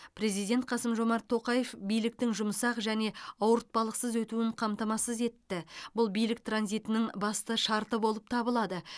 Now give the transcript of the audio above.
президент қасым жомарт тоқаев биліктің жұмсақ және ауыртпалықсыз өтуін қамтамасыз етті бұл билік транзитінің басты шарты болып табылады